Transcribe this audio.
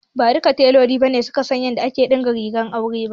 Ba duka teloli ne suka san yadda ake ɗinka rigar aure ba.